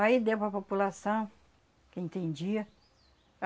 Aí deu para a população que entendia.